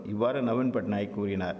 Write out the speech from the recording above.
இவ்வாறு நவீன்பட்நாயக் கூறினார்